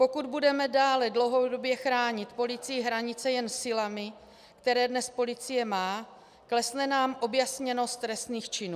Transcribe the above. Pokud budeme dále dlouhodobě chránit policií hranice jen silami, které dnes policie má, klesne nám objasněnost trestných činů.